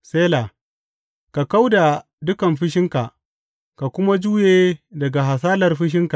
Sela Ka kau da dukan fushinka ka kuma juye daga hasalar fushinka.